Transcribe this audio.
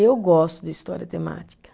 Eu gosto de história temática.